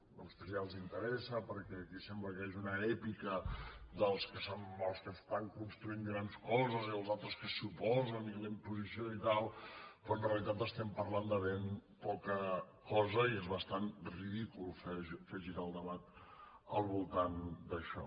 a vostès ja els interessa perquè aquí sembla que hi hagi una èpica dels que estan construint grans coses i els altres que s’hi oposen i la imposició i tal però en realitat estem parlant de ben poca cosa i és bastant ridícul fer girar el debat al voltant d’això